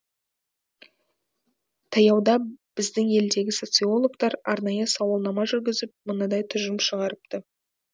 таяуда біздің елдегі социологтар арнайы сауалнама жүргізіп мынадай тұжырым шығарыпты